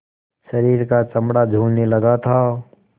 शरीर का चमड़ा झूलने लगा था